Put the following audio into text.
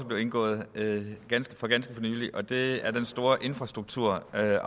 blevet indgået for ganske nylig det er den store infrastrukturaftale